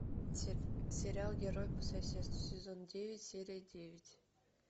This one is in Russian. сериал герой по соседству сезон девять серия девять